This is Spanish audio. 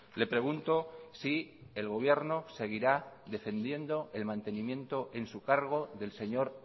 le pregunto si el gobierno seguirá defendiendo el mantenimiento en su cargo del señor